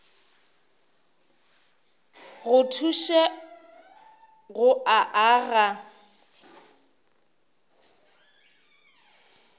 go thuše go o aga